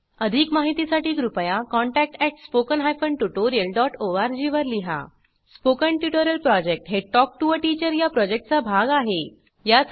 अधिक माहितीसाठी कृपया contact at spoken hyphen tutorial dot O R G वर लिहा स्पोकन ट्युटोरियल प्रॉजेक्ट हे टॉक टू टीचर या प्रॉजेक्टचा भाग आहे